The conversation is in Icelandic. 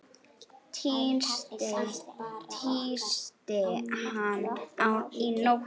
Tísti hann í nótt?